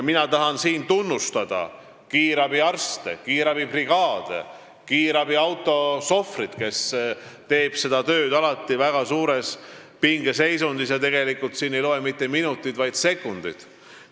Mina tahan tunnustada kiirabiarste, kiirabibrigaade, kiirabiautode sohvreid, kes teevad seda tööd alati väga suures pingeseisundis ja tegelikult ei loe seal mitte minutid, vaid sekundid.